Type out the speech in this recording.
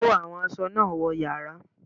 Kó àwọn aṣọ náà wọ yàrá!